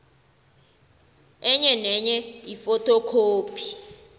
enye nenye ifothokhophi